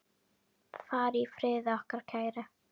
Far í friði, okkar kæri.